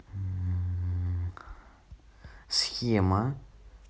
схема